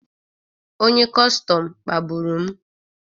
Onye kọstọm kpagburu m